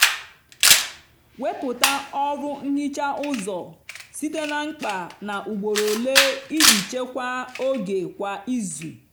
wepụta ọrụ nhicha ụzọ site na mkpa na ugboro ole iji chekwaa oge kwa izu.